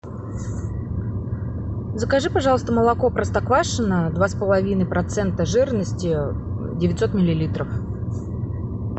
закажи пожалуйста молоко простоквашино два с половиной процента жирности девятьсот миллилитров